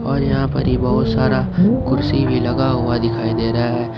और यहां पर ही बहुत सारा कुर्सी भी लगा हुआ दिखाई दे रहा है ।